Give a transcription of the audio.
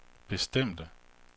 bestemte